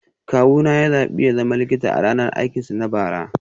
Kawuna ya zaɓi ya zama likita a ranar aikinsu na bara